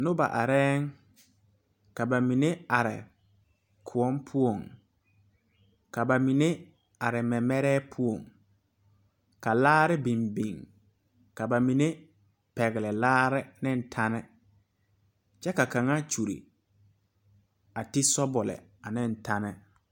Nobɔ arɛɛŋ ka ba mine are kõɔ poɔŋ ka ba mine are mɛmɛrɛɛ poɔŋ ka laare biŋ biŋ ka ba mine pɛgle laare neŋ tɛne kyɛ ka kaŋa kyure a ti sɔbule ane tɛne.